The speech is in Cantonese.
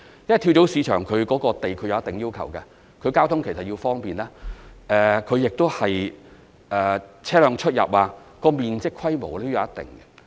因為跳蚤市場亦對土地有一定要求，它需要交通方便，對於車輛出入和面積規模方面也有一定要求。